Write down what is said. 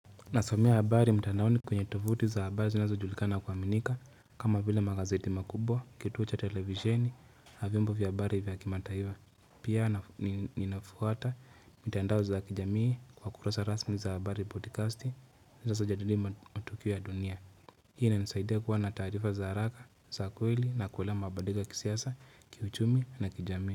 Nasomea habari mtanaoni kwenye tovuti za habari zinazojulikana na kuaminika, kama vile magazeti makubwa, kituo cha televizieni, na vyombo vya habari vya kimataifa pia ninafuata mitandao za kijamii kwa kurasa rasmi za habari podcasti zajadilia matukio ya dunia. Hii inanisaidia kuwa na taarifa za haraka za kweli na kuelewa mabadiliko ya kisiasa kiuchumi na kijamii.